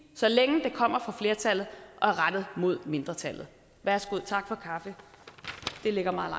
så længe det kommer fra flertallet og er rettet mod mindretallet værsgo tak for kaffe det ligger meget